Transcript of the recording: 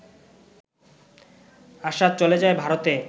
আশা চলে যায় ভারতে